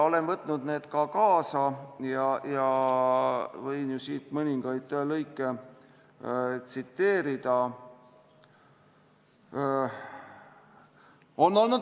Olen võtnud need kirjad ka kaasa ja võin siit mõningaid lõike tsiteerida.